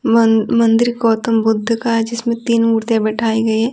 मं मंदिर गौतम बुद्ध का है जिसमें तीन मूर्तियां बैठाई गई है।